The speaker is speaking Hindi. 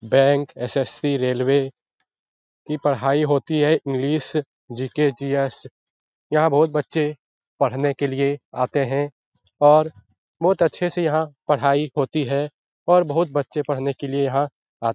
Bank SSC. रेलवे की पढ़ाई होती है इंग्लिश जी.के. जी.एस. यहाँ बहुत बच्चे पढ़ने के लिए आते हैं और बहुत अच्छी पढ़ाई होती है यहाँ बहुत बच्चे पढ़ने के लिए यहाँ आते --